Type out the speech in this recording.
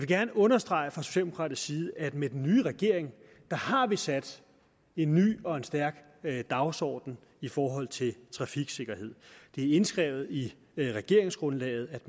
gerne understrege fra socialdemokratisk side at med den nye regering har vi sat en ny og en stærk dagsorden i forhold til trafiksikkerhed det er indskrevet i regeringsgrundlaget at